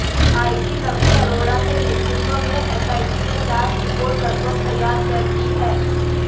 IG Naveen Arora के नेतृत्व में एसआईटी ने जांच रिपोर्ट लगभग तैयार कर ली है